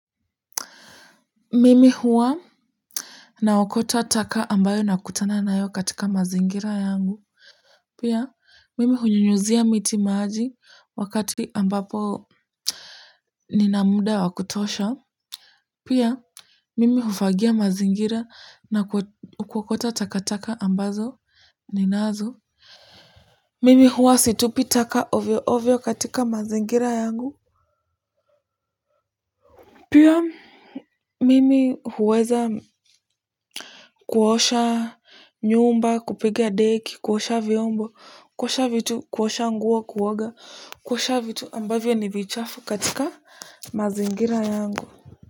Mimi huwa naokota taka ambayo nakutana nayo katika mazingira yangu, pia mimi hunyunyizia miti maji wakati ambapo nina mda wa kutosha, pia mimi hufagia mazingira na kuokota takataka ambazo ninazo mimi huwa situpi taka ovyo ovyo katika mazingira yangu pia, mimi huweza kuosha nyumba, kupiga deki, kuosha vyombo, kuosha vitu, kuosha nguo kuoga, kuosha vitu ambavyo ni vichafu katika mazingira yangu.